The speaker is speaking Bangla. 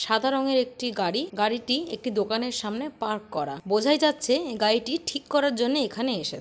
সাদা রঙের একটি গাড়ি গাড়িটি একটি দোকানের সামনে পার্ক করা বোঝাই যাচ্ছে গাড়িটি ঠিক করার জন্য এখানে এসে--